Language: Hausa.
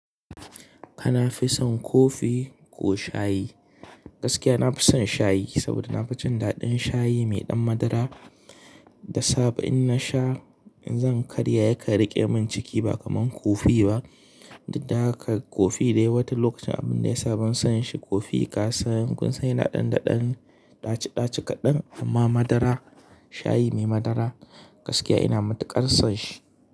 Kafi son coffee ko shayi? Gaskiya na fison shayi saboda na fi jin daɗin shayi mai ɗan madara. Da safe in nasha, in zan karya yakan riƙe min ciki ba kamar coffee ba. Dik da haka coffee dai wata lokacin abun da yasa ban son shi coffee ka san kun sa yana ɗanɗaɗan ɗaci ɗaci kaɗan amma madara, shayi mai madara gaskiya ina matuƙar son shi.